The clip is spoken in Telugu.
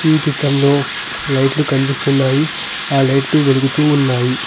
ఈ చిత్రంలో లైట్లు కనిపిస్తున్నాయి ఆ లైట్లు వెలుగుతూ ఉన్నాయి.